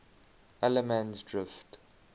allemansdrift